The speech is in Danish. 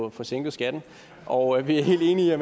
at få sænket skatten og vi er helt enige i at